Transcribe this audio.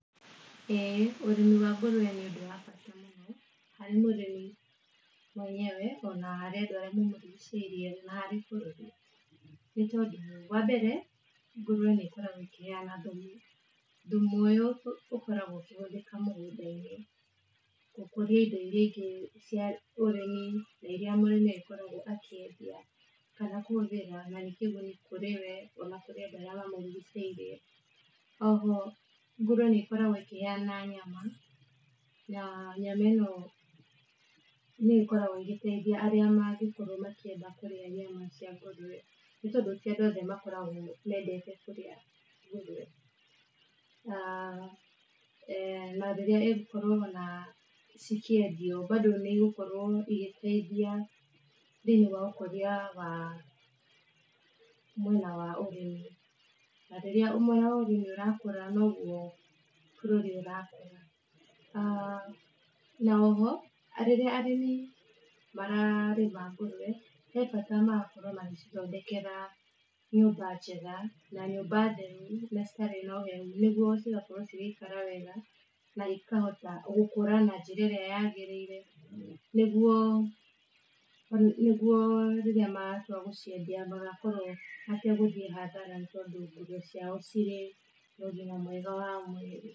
Ũrĩmi wa ngũrwe nĩ ũrimi wa bata harĩ mũrĩmi mwenyewe na harĩ andũ arĩa mamũrigicĩirie na harĩ bũrũri, nĩ tondũ wa mbere ngũrwe nĩkoragwo ĩkĩheana thumu, thumu ũkoragwo ũkĩhũthĩka mũgũnda-inĩ na gũkũria indo iria ingĩ cia ũrĩmi iria mũrĩmi akoragwo akĩendia kana kwongerera makĩria kũrĩa kũrĩ we kana kũrĩ arĩa mamũrigicĩirie, oho ngũrwe nĩkoragwo ĩkĩheana nyama na nyama ĩno nĩ gĩkoragwo ĩgĩteithia arĩa makoragwo makĩenda kũrĩa nyama cia ngũrwe, nĩ tondũ ti andũ othe makoragwo mendete kũrĩa aah na rĩrĩa cigũkorwo cikĩendio bado nĩ igĩteithia thĩinĩ wa ũkũria wa mwena wa ũrĩmi, na rĩrĩa mwena wa ũrĩmi ũrakũra niguo bũrũri ũrakũra. Aah na oho na rĩrĩa arĩmi mararĩma ngũrwe he bata magakorwo magĩcithondekera nyũmba njega na nyũmba theru na citarĩ na ũhehu nĩguo cigakorwo cigĩikara na ikahota gũkũra na njĩra ĩrĩa njega ĩrĩa yagĩrĩire, nĩguo rĩrĩa magatua gũciendia magakorwo mategũthia hathara tondũ ngũrwe ciao cigakorwo na ũgima mwega mwĩrĩ.